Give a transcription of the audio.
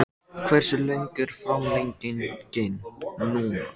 Hversu löng er framlengingin núna?